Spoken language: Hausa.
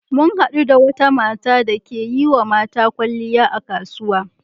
Mun haɗu da wata mata dake yiwa mata kyalliya a kasuwa.